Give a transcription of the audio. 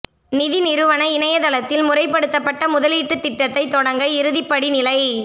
நிதி நிறுவன இணையத் தளத்தில் முறைப்படுத்தப்பட்ட முதலீட்டுத் திட்டத்தைத் தொடங்க இறுதிப் படி நிலை